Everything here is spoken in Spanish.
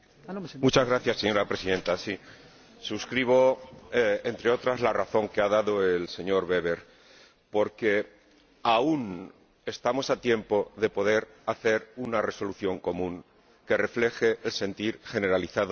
Señora Presidenta, suscribo, entre otras, la razón que ha dado el señor Weber, porque aún estamos a tiempo de poder hacer una resolución común que refleje el sentir generalizado de la Cámara.